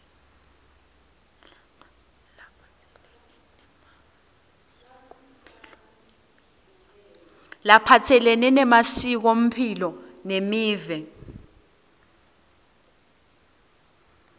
laphatselene nemasikomphilo nemiva